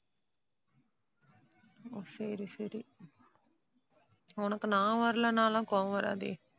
ஓ சரி சரி. உனக்கு நான் வரலைன்னாலாம் கோபம் வராதே.